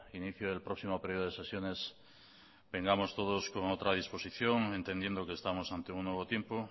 inicio del próximo período de sesiones vengamos todos con otra disposición entendiendo que estamos ante un nuevo tiempo